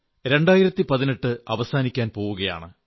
2018 അവസാനിക്കാൻ പോകയാണ്